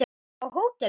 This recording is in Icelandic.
Á hóteli?